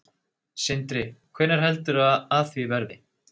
Sindri: Hvenær heldurðu að af því verði?